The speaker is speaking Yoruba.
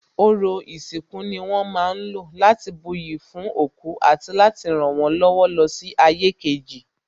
Ọrọ̀ ìsìnkú ni wón ma ń lò láti buyì fún òkú àti láti rànwọ́n lọ́wọ́ lọ sí ayé kejì